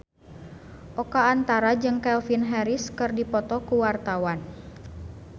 Oka Antara jeung Calvin Harris keur dipoto ku wartawan